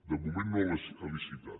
de moment no ha licitat